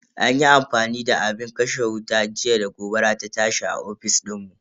An yi amfani da abin kashe wuta jiya da gobara ta tashi a ofis dinmu.